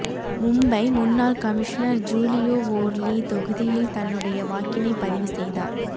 மும்பை முன்னாள் கமிஷனர் ஜூலியோ வோர்லி தொகுதியில் தன்னுடைய வாக்கினை பதிவு செய்தார்